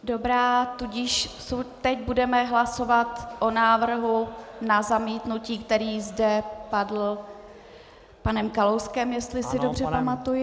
Dobrá, tudíž teď budeme hlasovat o návrhu na zamítnutí, který zde padl panem Kalouskem, jestli se dobře pamatuji.